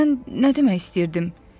Mən nə demək istəyirdim?